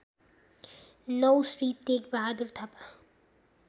९ Shri Tekbahadur Thapa